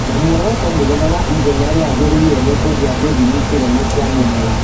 na mworoto mũnene wa ithenya rĩagĩrĩire nĩ kũgĩa gĩthimi kĩnene kĩa mĩmera